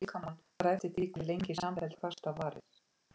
Ætla að sofa á Austurvelli